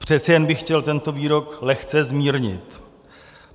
Přece jen bych chtěl tento výrok lehce zmírnit.